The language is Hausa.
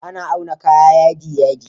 Ana auna kaya yadi yadi